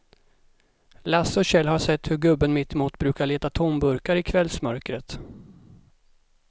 Lasse och Kjell har sett hur gubben mittemot brukar leta tomburkar i kvällsmörkret.